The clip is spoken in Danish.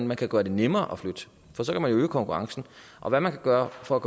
man kan gøre det nemmere at flytte for så kan man øge konkurrencen og hvad man kan gøre for